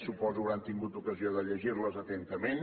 suposo que hauran tingut ocasió de llegir les atentament